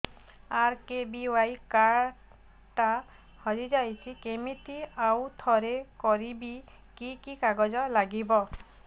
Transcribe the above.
RKBY card ଟା ହଜିଯାଇଛି କିମିତି ଆଉଥରେ କରିବି କି କି କାଗଜ ଲାଗିବ